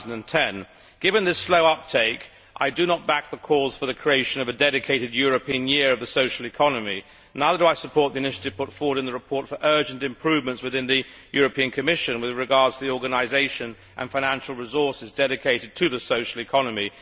2010. Given this slow uptake, I do not back the calls for the creation of a dedicated European year of the social economy, and neither do I support the initiative put forward in the report for urgent improvements within the Commission with regard to the organisation and financial resources dedicated to the social economy.